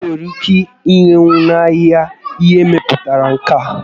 Enwere ike irenwu n'ahịa ihe e mepụtara na nka?